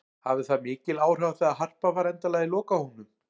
Hafði það mikil áhrif á það að Harpa var endanlega í lokahópnum?